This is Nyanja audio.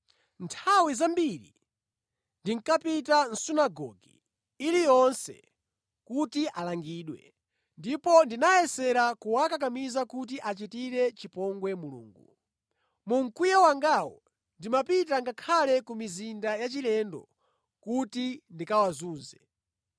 Nthawi zambiri ndinkapita mʼsunagoge iliyonse kuti alangidwe, ndipo ndinayesera kuwakakamiza kuti achitire chipongwe Mulungu. Mu mkwiyo wangawo, ndimapita ngakhale ku mizinda yachilendo kuti ndikawazunze.